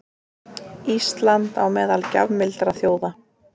Ísland á meðal gjafmildra þjóða